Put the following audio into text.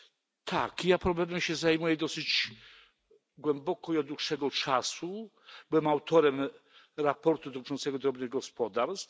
Tak, ja problemem zajmuje się dosyć głęboko i od dłuższego czasu. Byłem autorem raportu dotyczącego drobnych gospodarstw.